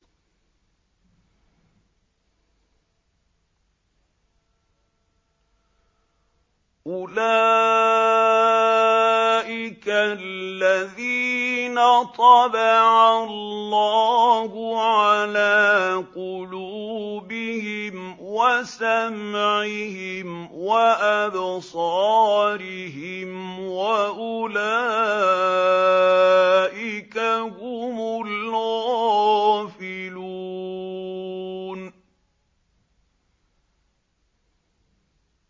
أُولَٰئِكَ الَّذِينَ طَبَعَ اللَّهُ عَلَىٰ قُلُوبِهِمْ وَسَمْعِهِمْ وَأَبْصَارِهِمْ ۖ وَأُولَٰئِكَ هُمُ الْغَافِلُونَ